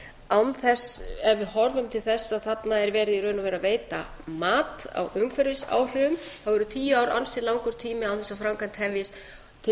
án þess ef við horfum til þess að þarna er verið í raun og veru að veita mat á umhverfisáhrifum þá eru tíu ár ansi langur tími án þess að framkvæmd hefjist til þess